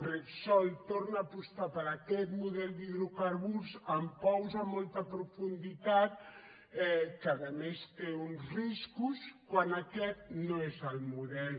repsol torna a apostar per aquest model d’hidrocarburs amb pous a molta profunditat que a més té uns riscos quan aquest no és el model